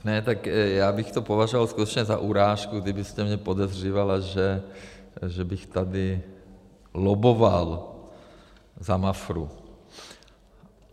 Ne, tak já bych to považoval skutečně za urážku, kdybyste mě podezřívala, že bych tady lobboval za Mafru.